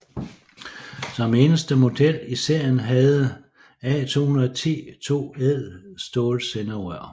Som eneste model i serien havde A 210 to ædelstålsenderør